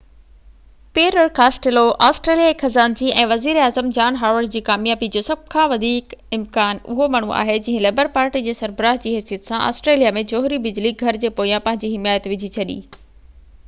Peter Costello آسٽريليائي خزانچي ۽ وزير اعظم جان هاورڊ جي ڪاميابي جو سڀ کان وڌيڪ امڪان اهو ماڻهو آهي جنهن لبر پارٽي جي سربراه جي حيثيت سان آسٽريليا ۾ جوهري بجلي گهر جي پويان پنهنجي حمايت وجهي ڇڏي